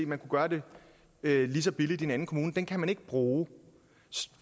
man kunne gøre det lige så billigt som en anden kommune kan man ikke bruge